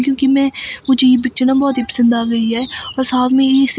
क्योंकि मैं मुझे ये पिक्चर न बहोत ही पसंद आ गई है और साथ में यही से--